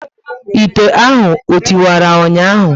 Ite ahụ o tiwara ụnyaahụ?